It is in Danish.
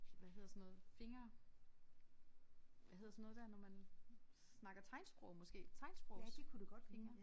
Hvad hedder sådan noget finger hvad hedder sådan noget der når man snakker tegnsprog måske tegnsprogsfingre